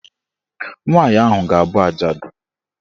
Nwaanyị ahụ ga- abụ ajadu.